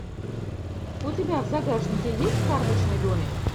у тебя в загашнике есть карточный домик